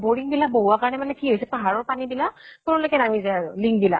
আৰু boring বিলাক বহুৱা কাৰণে মানে কি হৈছে, পাহাৰ ৰ পানী বিলাক তললৈকে নামি যায় আৰু link বিলাক ।